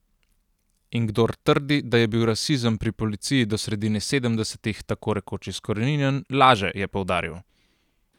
In kdor trdi, da je bil rasizem pri policiji do sredine sedemdesetih tako rekoč izkoreninjen, laže, je poudaril.